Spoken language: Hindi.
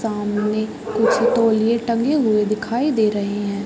सामने कुछ तोलिए टंगे हुए दिखाई दे रहे हैं।